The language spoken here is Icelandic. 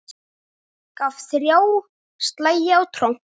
Gaf ÞRJÁ slagi á tromp.